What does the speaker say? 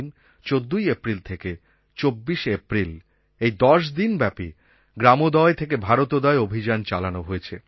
১৪ই এপ্রিল থেকে ২৪শে এপ্রিল এই দশ দিন ব্যপী গ্রামোদয় থেকে ভারতোদয় অভিযান চালানো হয়েছে